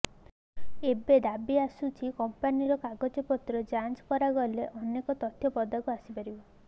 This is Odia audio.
ଏବେ ଦାବି ଆସୁଛି କମ୍ପାନୀର କାଗଜପତ୍ର ଯାଞ୍ଚ କରାଗଲେ ଅନେକ ତଥ୍ୟ ପଦାକୁ ଆସିପାରିବ